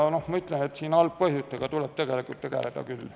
Ma ütlen, et algpõhjustega tuleb tegeleda.